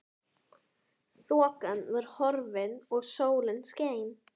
Þokan var horfin og sólin skein.